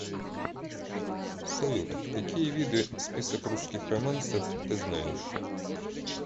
салют какие виды список русских романсов ты знаешь